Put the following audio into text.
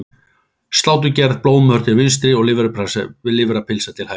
Sláturgerð, blóðmör til vinstri og lifrarpylsa til hægri.